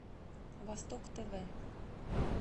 восток тв